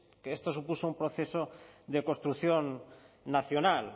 que esto supuso un proceso de construcción nacional